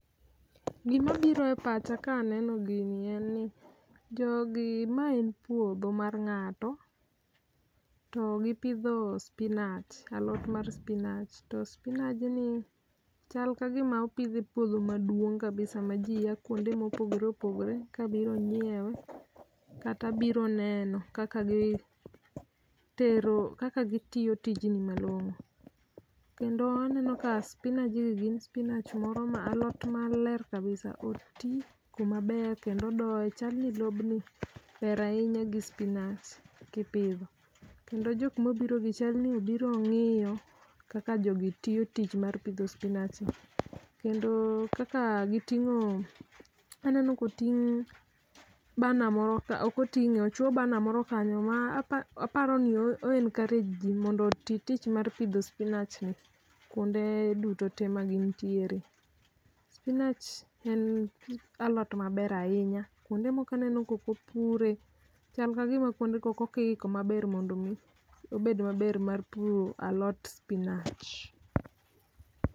Gimabiro e pacha ka aneno gini en ni, jogi ma en puodho mar nga'to. To gipidho spinach, alot mar spinach. To spinajni, chal ka gima opidhe puodho maduong' kabisa ma jii ya kwonde mopogore opogore kabiro nyiewe, kata biro neno kaka gi, tero, kaka gitiyo tijni malong'o. Kendo aneno ka spinajgi gin spinach moro ma alot maler kabisa oti kumaber kendo odoye chalni ni lob ni ber ahinya gi spinach, kipidho. Kendo jok mobirogi chalni obiro ng'iyo, kaka jogi tiyo tich mar pidho spinach ni. Kendo kaka giting'o, aneno koting' banner moro ka ok oting'e, ochuo banner moro kanyo ma apa aparonio o encourage jii mondo oti tich mar pidho spinach ni kwonde duto te ma gintiere. Spinach en alot maber ahinya, kwonde moko aneno kokopure. Chal ka gima kwondego kokiiko maber mondo mi, obed maber mar puro alot spinach